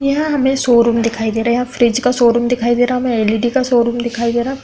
यहाँ हमें शोरूम दिखाई दे रहा है। यहाँ फ्रिज का शोरूम दिखाई दे रहा। हमें एलइडी का शोरूम दिखाई दे रहा --